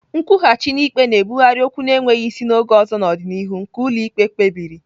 Nkwụghachi n'ikpe na-ebugharị okwu na-enweghị isi na oge ọzọ n'ọdịnihu nke ụlọ ikpe kpebiri.